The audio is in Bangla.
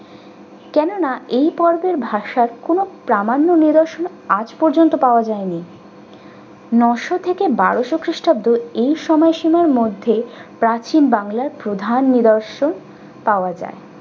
কেননা এই পর্বের ভাবসাপ কোন প্রামাণ্য নিদর্শন আজ পর্যন্ত পাওয়া যায়নি নয়শো থেকে বারশো খ্রিষ্টাব্দ এই সময়সীমার মধ্যে প্রাচীন বাংলায় প্রধান নিদর্শন পাওয়া যায়।